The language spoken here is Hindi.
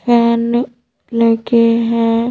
फैन लगे हैं।